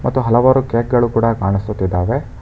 ತು ಹಲವಾರು ಕೇಕ್ಗಳು ಕೂಡ ಕಾಣಿಸುತ್ತಿದ್ದಾವೆ.